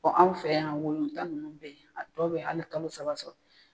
anw fɛ yan tan ninnu be ye, a tɔ bɛ hali kalo saba sɔrɔ